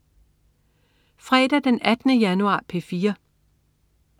Fredag den 18. januar - P4: